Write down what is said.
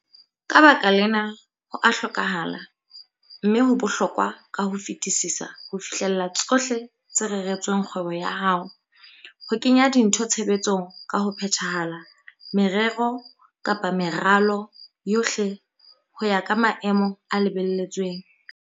Ka baka lena, ho a hlokahala, mme ho bohlokwa ka ho fetisisa ho fihlella tsohle tse reretsweng kgwebo ya hao, ho kenya dintho tshebetsong ka ho phethahala, merero-meralo yohle ho ya ka maemo a lebelletsweng.